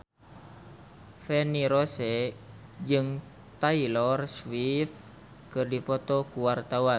Feni Rose jeung Taylor Swift keur dipoto ku wartawan